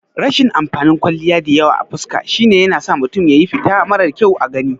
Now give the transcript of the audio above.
Rashin amfanin kwalliya diyawa a fuska shine yanasa mutum ya yi fita marar kyau a gani